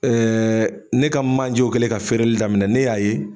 ne ka manjew kɛlen ka feereli daminɛ ne y'a ye